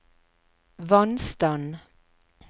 vannstand